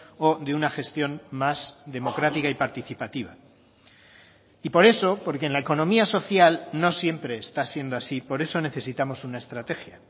o de una gestión más democrática y participativa y por eso porque en la economía social no siempre está siendo así por eso necesitamos una estrategia